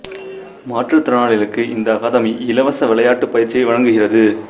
மாற்றுத் திறனாளிகளுக்கு இந்த அகாதமி இலவச விளையாட்டுப் பயிற்சியை வழங்குகிறது